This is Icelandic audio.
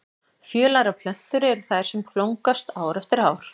Fjölærar plöntur eru þær sem blómgast ár eftir ár.